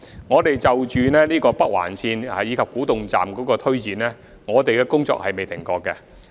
我們就着北環線及古洞站進行的推展工作從來未曾停止。